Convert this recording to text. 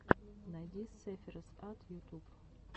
найди сэфироз ат ютуб